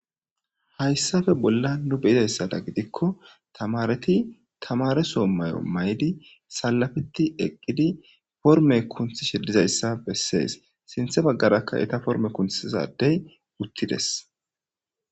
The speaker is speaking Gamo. Hayssappe bollan nu be'idayssata gidikko tamaretti tamare soho may'o mayidi salafetti eqqidi forme kuntishshe dizayssa besses. Sintte baggarakka Etta forme kuntisiziza addey uttides.